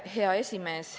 Hea esimees!